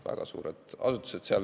Väga suured asutused.